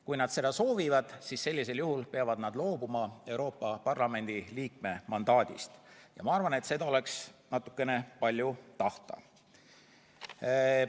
Kui nad seda soovivad, siis sellisel juhul peavad nad loobuma Euroopa Parlamendi liikme mandaadist, ja ma arvan, et seda oleks natukene palju tahta.